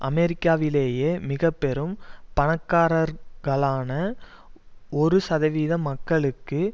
அமெரிக்காவிலேயே மிக பெரும் பணக்காரர்களான ஒரு சதவீத மக்களுக்கு